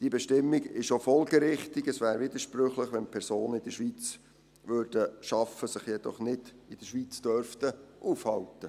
Diese Bestimmung ist auch folgerichtig, es wäre widersprüchlich, wenn Personen in der Schweiz arbeiteten, sich jedoch nicht in der Schweiz aufhalten dürften.